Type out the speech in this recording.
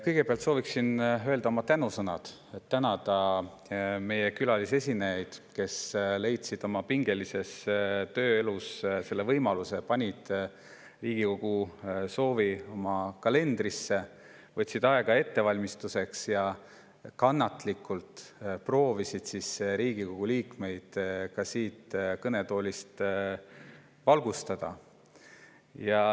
Kõigepealt sooviksin öelda oma tänusõnad, tänada meie külalisesinejaid, kes leidsid oma pingelises tööelus selle võimaluse, panid Riigikogu soovi oma kalendrisse, võtsid aega ettevalmistuseks ja kannatlikult proovisid Riigikogu liikmeid ka siit kõnetoolist valgustada.